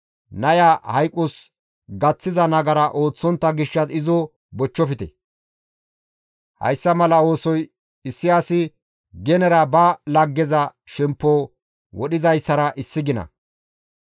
Naya hayqos gaththiza nagara ooththontta gishshas izo bochchofte; hayssa mala oosoy issi asi genera ba laggeza shemppo wodhizayssara issi gina.